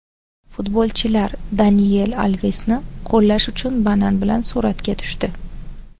Futbolchilar Daniel Alvesni qo‘llash uchun banan bilan suratga tushdi .